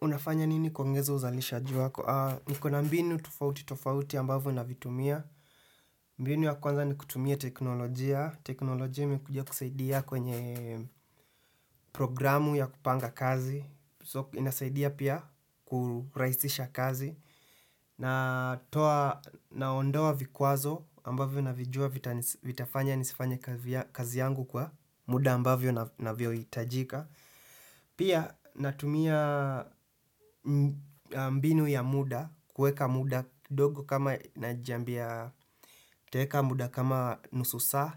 Unafanya nini kuongeza uzalishaji wako? Nikona mbinu tofauti tofauti ambavyo navitumia. Mbinu ya kwanza ni kutumia teknolojia. Teknolojia imekuja kusaidia kwenye programu ya kupanga kazi. So inasaidia pia kurahisisha kazi. Na toa naondoa vikwazo ambavyo navijua vitafanya nisifanye kazi yangu kwa muda ambavyo na vyohitajika. Pia natumia mbinu ya muda, kuweka muda ndogo kama najiambia nitaeka muda kama nusu saa